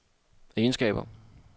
egenskaber